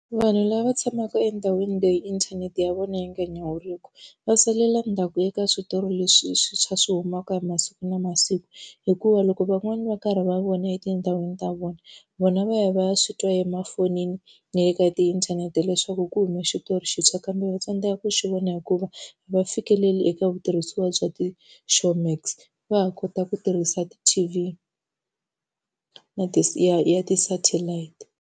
Vanhu lava tshamaka endhawini leyi inthanete ya vona yi nga nyawuriki, va salela ndzhaku eka switori leswi swintshwa leswi swi humaka hi masiku na masiku. Hikuva loko van'wani va karhi va vona etindhawini ta vona, vona va ya va ya swi twa emafoni na le ka tiinthanete leswaku ku huma xitori xintshwa kambe va tsandzeka ku xi vona hikuva a va fikeleli eka vutirhisiwa bya ti Showmax. Va ha kota ku tirhisa ti-T_V na ya ti satellite.